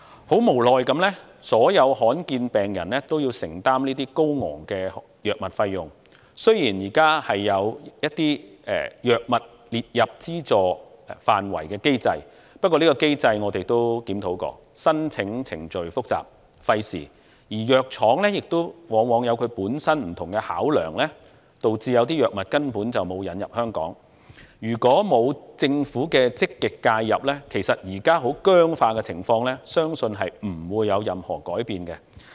很無奈地，所有罕見疾病病人也要承擔高昂的藥物費用，雖然現在有將若干藥物列入資助範圍的機制，但我們曾研究有關機制，發覺申請程序複雜、費時，而藥廠往往有其本身不同的考量，導致有些藥物根本沒有引入香港；如果沒有政府的積極介入，相信目前僵化的情況不會有任何改變。